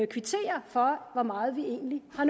kvitterer for hvor meget vi egentlig har